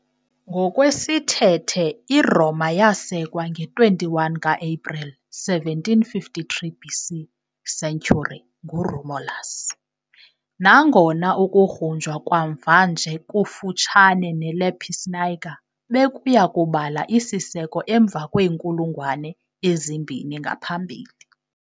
Ngokwesithethe, iRoma yasekwa nge-21 ka-Epreli 753 BC.C. nguRomulus, nangona ukugrunjwa kwamva nje kufutshane neLapis niger bekuya kubala isiseko emva kweenkulungwane ezimbini ngaphambili.